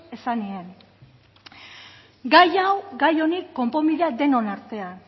esan nien gai hau gai honi konponbidea denon artean